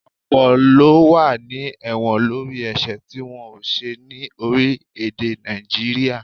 Ọ̀pọ̀ ló wà ní ẹ̀wọ̀n lórí ẹ̀sẹ̀ tí wọ́n ò ṣẹ̀ ni orílé-èdè Naijiria